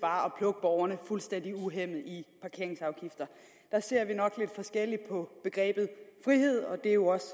bare at plukke borgerne fuldstændig uhæmmet i parkeringsafgifter der ser vi nok lidt forskelligt på begrebet frihed og det er jo også